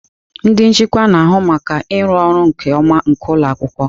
Ndị nchịkwa na-ahụ maka ịrụ ọrụ nke ọma nke ụlọ akwụkwọ.